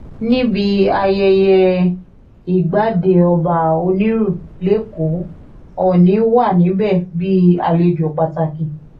níbi ayẹyẹ ìgbàdé ọba onírú lẹ́kọ̀ọ́ òọ́nì wà níbẹ̀ bí àlejò pàtàkì